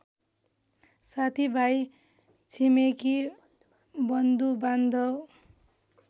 साथीभाइ छिमेकी बन्धुबान्धव